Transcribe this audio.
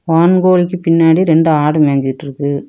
வான்கோழிக்கு பின்னாடி ரெண்டு ஆடு மேஞ்சுட்டுருக்கு.